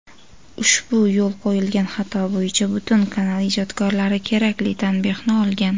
ushbu yo‘l qo‘yilgan xato bo‘yicha butun kanal ijdodkorlari kerakli tanbehni olgan.